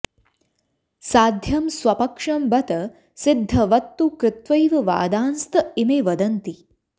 साध्यं स्वपक्षं बत सिद्धवत्तु कृत्वैव वादांस्त इमे वदन्ति